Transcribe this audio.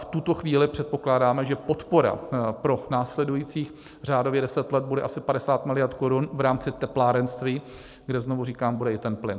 V tuto chvíli předpokládáme, že podpora pro následujících řádově 10 let bude asi 50 miliard korun v rámci teplárenství, kde znovu říkám, bude i ten plyn.